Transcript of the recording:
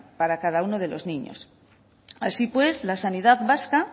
para cada uno de los niños así pues la sanidad vasca